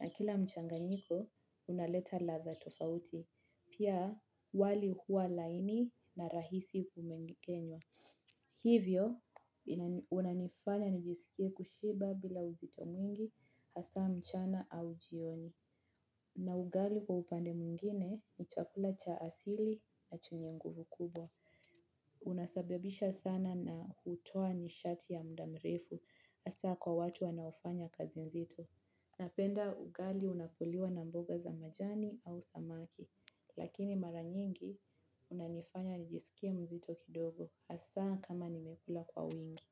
na kila mchanganyiko unaleta ladha tofauti pia wali huwa laini na rahisi kumengenya. Hivyo unanifanya nijisikie kushiba bila uzito mwingi hasa mchana au jioni. Na ugali kwa upande mwingine ni chakula cha asili na chenye nguvu kubwa. Unasababisha sana na hutoa nishati ya muda mrefu hasa kwa watu wanaofanya kazi nzito. Napenda ugali unapoliwa na mboga za majani au samaki. Lakini mara nyingi unanifanya nijisikie mzito kidogo hasa kama nimekula kwa wingi.